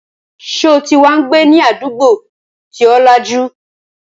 Sọ ti wá ń gbé ní àdúgbò tí ó lajú?